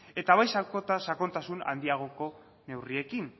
eta bai sakontasun handiagoko neurriekin